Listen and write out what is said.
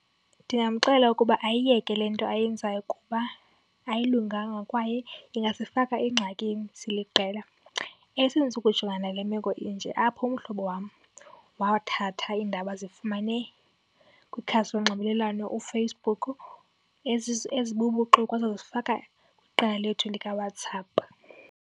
Ndingamxelela ukuba ayiyeke le nto ayenzayo kuba ayilunganga kwaye ingasifaka engxakini siliqela. Sendisuka ukujonga nale meko inje apho umhlobo wam wathatha iindaba azifumane kwikhasi lonxibelelwano uFacebook ezibubuxoki wazozifaka kwiqela lethu likaWhatsApp.